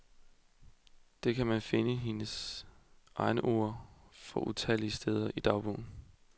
Det kan man finde hendes egne ord for utallige steder i dagbogen.